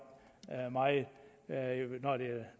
meget